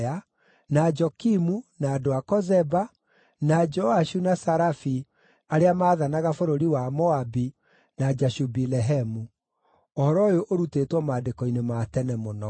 na Jokimu, na andũ a Kozeba, na Joashu na Sarafi arĩa maathanaga bũrũri wa Moabi, na Jashubi-Lehemu. (Ũhoro ũyũ ũrutĩtwo maandĩko-inĩ ma tene mũno.)